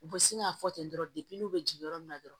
U bɛ sin k'a fɔ ten dɔrɔn n'u bɛ jigin yɔrɔ min na dɔrɔn